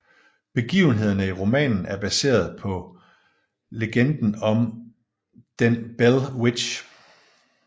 Begivenhederne i romanen er baseret på legenden om den Bell Witch